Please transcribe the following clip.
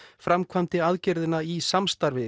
framkvæmdi aðgerðina í samstarfi við